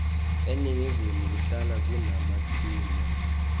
eningizimu kuhlala kuna timwla